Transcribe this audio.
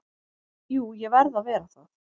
Jú ég verð að vera það.